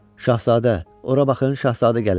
Şahzadə, ora baxın şahzadə gəlir.